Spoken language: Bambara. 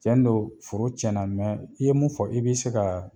Tiɲɛ don foro tiɲɛna, mɛn i ye mun fɔ i b'i se ka